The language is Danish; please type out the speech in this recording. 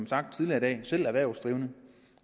sagt tidligere i dag selv er erhvervsdrivende